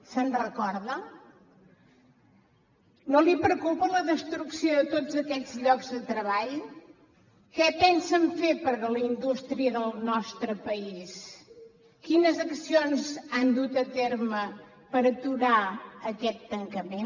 se’n recorda no li preocupa la destrucció de tots aquests llocs de treball què pensen fer per la indústria del nostre país quines accions han dut a terme per aturar aquest tancament